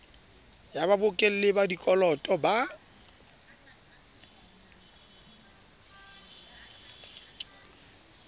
ya babokelli ba dikoloto ba